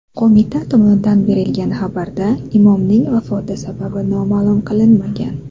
Qo‘mita tomonidan berilgan xabarda imomning vafoti sababi ma’lum qilinmagan.